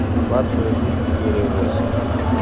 сладкая жизнь серия восемь